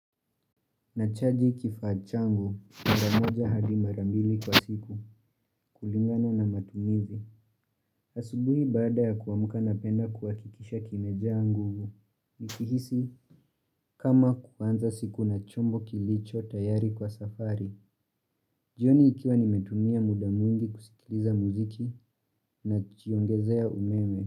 Nachaji kifaa changu mara moja adi mara mbili kwa siku kulingana na matumizi. Asubuhi baada ya kuamka napenda kuhakikisha kimejaa nguvu. Nikihisi kama kuanza siku na chombo kilichotayari kwa safari. Jioni nikiwa nimetumia muda mwingi kusikiliza muziki najiongezea umeme.